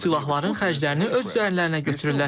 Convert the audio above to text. Bu silahların xərclərini öz üzərlərinə götürürlər.